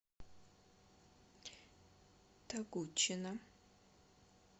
тогучина